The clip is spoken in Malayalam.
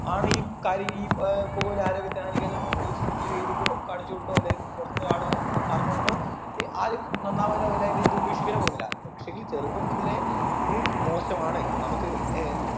ആണീ കാര്യം ഈ ഏർ പുകവലി ആരോഗ്യത്തിന് ഹാനികരം എന്നൊന്നും ഈ cinema യിൽ എഴുതി കൊകാണിച്ചോണ്ടോ അല്ലെങ്കിൽ പുറത്തുന്ന് ഒരാൾ വന്ന് ഏർ പറഞ്ഞോണ്ടോ ആരും നന്നാവാനും ആവില്ല അല്ല ഇത് ഉപേക്ഷിക്കാനും പോന്നില്ല പക്ഷേങ്കിൽ ചെറുപ്പം മുതലേ ഇത് മോശമാണ് നമ്മക്ക് ഏർ